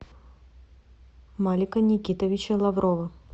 малика никитовича лаврова